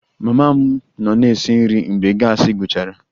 Mama m nọ na-esi nri mgbe gasi gwụchara